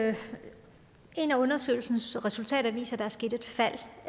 at et af undersøgelsens resultater viser at der er sket et fald